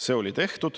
See on tehtud.